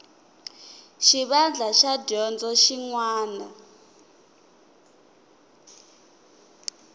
xivandla xa dyondzo xin wana